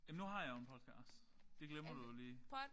Jamen du har jeg jo en podcast. Det glemmer du jo lige